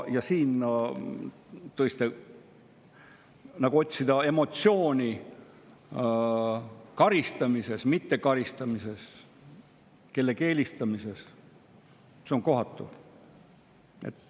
Siin otsida emotsiooni, kas see on karistamine, mittekaristamine, kellegi eelistamine, on kohatu.